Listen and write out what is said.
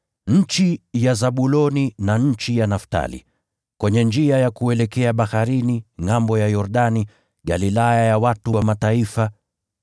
“Nchi ya Zabuloni na nchi ya Naftali, kwenye njia ya kuelekea baharini, ngʼambo ya Yordani, Galilaya ya watu wa Mataifa: